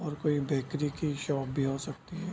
और कोई बेकरी की शॉप भी हो सकती है।